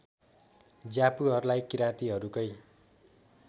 ज्यापुहरूलाई किराँतीहरूकै